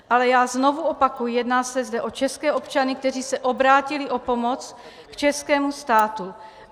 Ale já znovu opakuji, jedná se zde o české občany, kteří se obrátili o pomoc k českému státu.